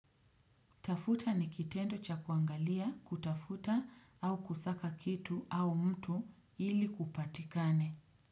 Tafuta ni kitendo cha kuangalia kutafuta au kusaka kitu au mtu ili kupatikane.